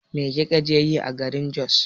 Me kika je yi a garin Jos?